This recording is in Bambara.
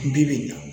Bi bi in na